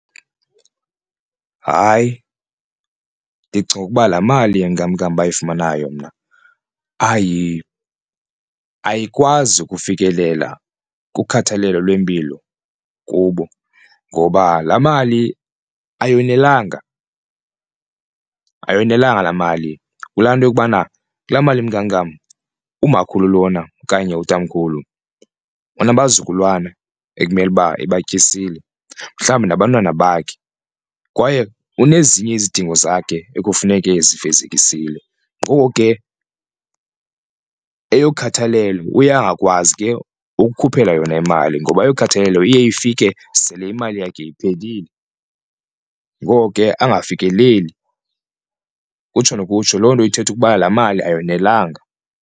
Hayi, ndicinga ukuba laa mali yenkamnkam bayifumanayo mna ayikwazi ukufikelela kukhathalelo lwempilo kubo ngoba laa mali ayonelanga, ayonelanga laa mali kulaa nto yokubana kulaa mali yenkankam umakhulu lona okanye utamkhulu banabazukulwana ekumele uba ebatyisile mhlawumbi nabantwana bakhe. Kwaye unezinye izidingo zakhe ekufuneke ezifezekisile ngoko ke eyokhathelelo uye angakwazi ke ukukhuphela yona imali ngoba eyokhathalelo iye ifike sele imali yakhe iphelile, ngoko ke angafikeleli. Kutsho nokutsho loo nto ithetha ukuba laa mali ayonelanga.